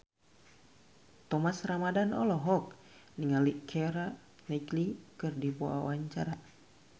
Thomas Ramdhan olohok ningali Keira Knightley keur diwawancara